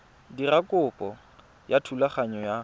dira kopo ya thulaganyo ya